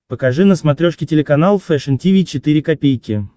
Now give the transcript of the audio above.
покажи на смотрешке телеканал фэшн ти ви четыре ка